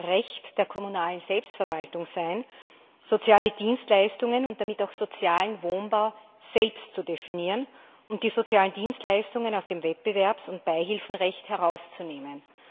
Recht der kommunalen Selbstverwaltung sein, soziale Dienstleistungen und damit auch sozialen Wohnbau selbst zu definieren und die sozialen Dienstleistungen aus dem Wettbewerbs und Beihilfenrecht herauszunehmen.